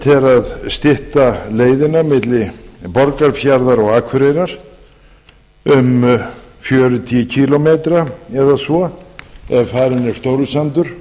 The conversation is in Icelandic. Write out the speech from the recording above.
að stytta leiðina milli borgarfjarðar og akureyrar um fjörutíu kílómetra eða svo ef farinn er stórisandur